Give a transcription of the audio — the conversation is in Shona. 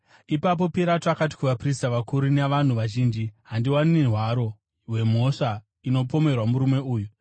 Ipapo Pirato akati kuvaprista vakuru navanhu vazhinji, “Handiwani hwaro hwemhosva inopomerwa murume uyu.”